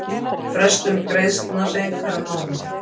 Frestun greiðslna seinkar um mánuði